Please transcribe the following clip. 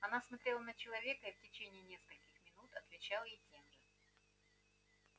она смотрела на человека и в течение нескольких минутой отвечал ей тем же